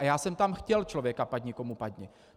A já jsem tam chtěl člověka padni komu padni.